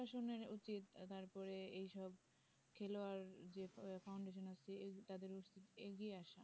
প্রশাসনের অতিত তারপরে এই সব খেলোয়াড়দের foundation আছে তাদের এগিয়ে আসা